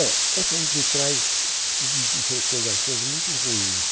É, essa me traz hum recordações muito ruins.